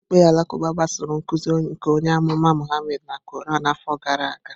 Okiikpe alakuba gbasoro nkuzi nke onye amụma Muhammad na Quran afọ gara aga.